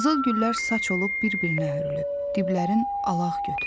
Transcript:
Qızıl güllər saç olub bir-birinə hörülüb, diblərin alaq götürüb.